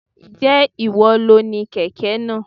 Ǹjẹ́ ìwọ lo ni kẹ̀kẹ́ náà?